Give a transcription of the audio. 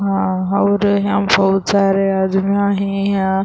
ہا اور یہا بھوت سارے ادمیع ہے یہاں --